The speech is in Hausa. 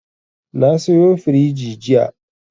Na sayo firiji jiya.